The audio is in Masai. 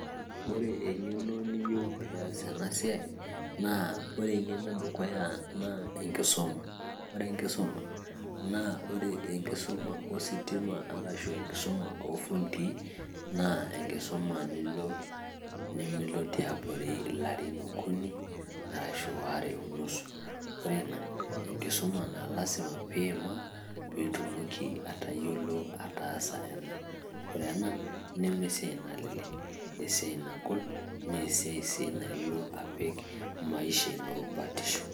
Ore eng'eno niyieu peias ena siai, na ore eng'eno edukuya naa, enkisuma. Ore enkisuma, naa ore enkisuma ositima arashu enkisuma ofundii, na enkisuma nimilo tiabori ilarin okuni, arashu waare onusu. Ore ina, enkisuma na lasima pimaa, pitumoki atayiolo ataasa ena. Ore ena, nemesiai nalelek. Esiai nagol, naa esiai si nilo apik maisha ino batisho.